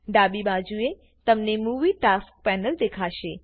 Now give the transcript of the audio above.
ડાબી બાજુએતમને movie task panel દેખાશે